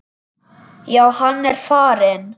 Já, hann er farinn